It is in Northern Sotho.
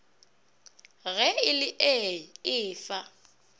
ge e le ee efa